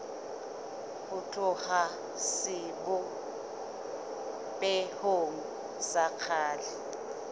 ho tloha sebopehong sa kgale